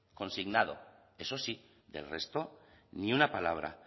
consignado eso sí del resto ni una palabra